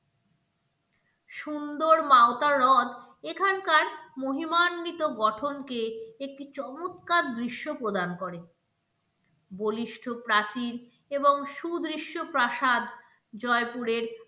সুন্দর মাওতা রথ এখানকার মহিমান্বিত গঠনকে একটি চমৎকার দৃশ্য প্রদান করে বলিষ্ঠ প্রাচীন এবং সুদৃশ্য প্রাসাদ জয়পুরের